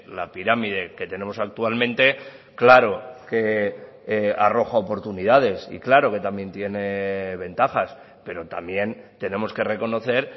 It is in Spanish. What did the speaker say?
la pirámide que tenemos actualmente claro que arroja oportunidades y claro que también tiene ventajas pero también tenemos que reconocer